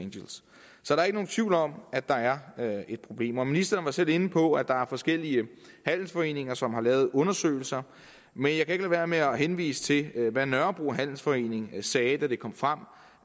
der er ikke nogen tvivl om at der er er et problem ministeren var selv inde på at der er forskellige handelsforeninger som har lavet undersøgelser men jeg kan ikke lade være med at henvise til hvad nørrebro handelsforening sagde da det kom frem